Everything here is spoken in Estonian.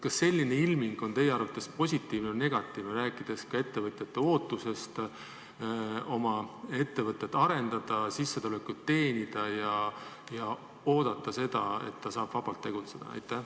Kas selline ilming on teie arvates positiivne või negatiivne, rääkides ka ettevõtjate ootusest, et nad saavad oma ettevõtet arendada ja sissetulekut teenida ning vabalt tegutseda?